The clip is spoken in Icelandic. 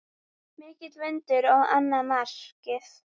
Mikill vindur á annað markið.